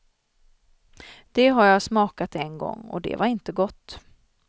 Det har jag smakat en gång, och det var inte gott.